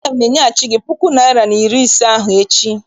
Aga m enyeghachi gị puku naịra na iri ise ahụ echi.